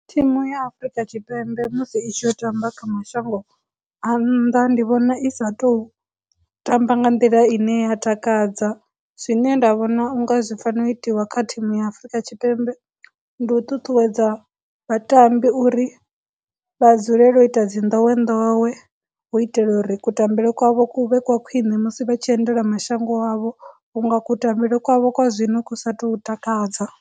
Thimu ya Afurika Tshipembe musi i tshi yo tamba kha mashango a nnḓa ndi vhona i sa tou tamba nga nḓila ine ya takadza, zwine nda vhona unga zwi fanela u itiwa kha thimu ya Afurika Tshipembe ndi u ṱuṱuwedza vhatambi uri vha dzulele u ita dzi ndowendowe hu u itela uri kutambele kwavho kuvhe kwa khwine musi vha tshi endela mashango wavho, vhunga kutambele kwavho kwa zwino ku sa tou takadza.